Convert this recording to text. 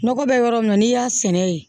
Nɔgɔ bɛ yɔrɔ min na n'i y'a sɛnɛ yen